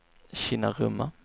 Kinnarumma